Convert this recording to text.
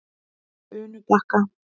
Unubakka